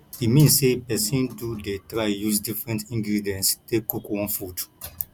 e mean say persin do de try use different ingredients take cook one food